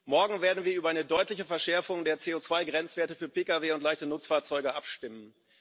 Morgen werden wir über eine deutliche Verschärfung der CO2 Grenzwerte für Pkw und leichte Nutzfahrzeuge abstimmen.